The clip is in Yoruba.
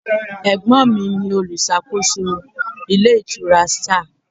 Ẹ̀gbọ́n mi ni olùṣàkóso ilé ìtura Star.